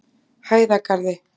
Hæðagarði